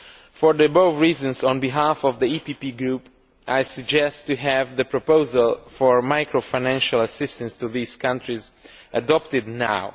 For the above reasons, on behalf of the PPE Group, I suggest we have the proposal for macro financial assistance to these countries adopted now.